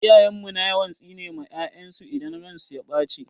Iyayen mu na yawan tsine ma 'ya'yansu idan ransu ya ɓace.